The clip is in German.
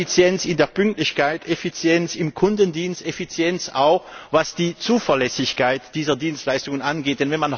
Effizienz in der Pünktlichkeit, Effizienz im Kundendienst, Effizienz auch, was die Zuverlässigkeit dieser Dienstleistungen angeht.